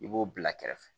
I b'o bila kɛrɛfɛ